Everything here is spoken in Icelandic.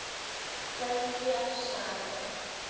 Kveðja, Saga.